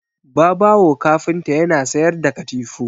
Babawo kafinta yana sayar da katifu